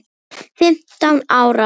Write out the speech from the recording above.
Fimmtán ára.